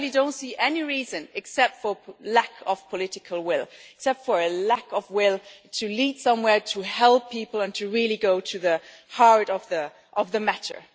I really don't see any reason, except for lack of political will and a lack of will to lead somewhere, to help people and to really go to the heart of the matter.